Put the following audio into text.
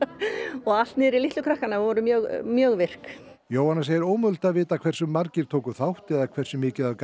og allt niður í litlu krakkana þau voru mjög mjög virk Jóhanna segir ómögulegt að vita hversu margir tóku þátt eða hversu mikið af